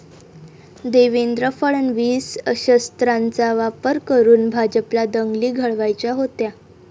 देवेंद्र फडणवीस...शस्त्रांचा वापर करून भाजपला दंगली घडवायच्या होत्या?'